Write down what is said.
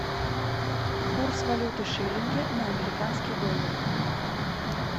курс валюты шиллинги на американские доллары